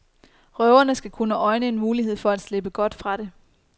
Røverne skal kunne øjne en mulighed for at slippe godt fra det.